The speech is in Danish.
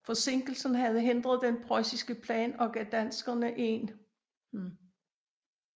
Forsinkelsen havde hindret den prøjsiske plan og gav danskerne en mulighed for at reorganisere tropperne